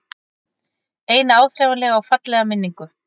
Eina áþreifanlega og fallega minningu.